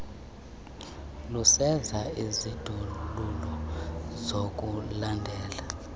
lusenza isindululo sokulandela